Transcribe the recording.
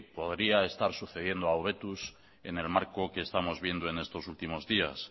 podría estar sucediendo a hobetuz en el marco que estamos viendo en estos últimos días